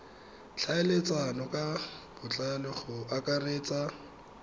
tlhaeletsano ka botlalo go akaretsa